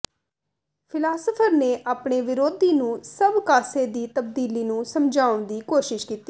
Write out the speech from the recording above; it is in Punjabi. ਫ਼ਿਲਾਸਫ਼ਰ ਨੇ ਆਪਣੇ ਵਿਰੋਧੀ ਨੂੰ ਸਭ ਕਾਸੇ ਦੀ ਤਬਦੀਲੀ ਨੂੰ ਸਮਝਾਉਣ ਦੀ ਕੋਸ਼ਿਸ਼ ਕੀਤੀ